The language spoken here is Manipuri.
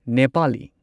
ꯅꯦꯄꯥꯂꯤ